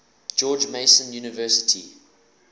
george mason university